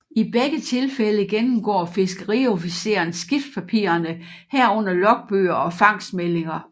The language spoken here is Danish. I begge tilfælde gennemgår fiskeriofficeren skibspapirerne herunder logbøger og fangstmeldinger